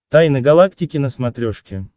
тайны галактики на смотрешке